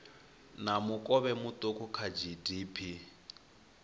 na mukovhe muuku kha gdp